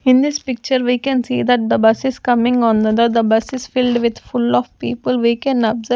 In this picture we can see that the bus is coming on the the bus is filled with full of people we can observe.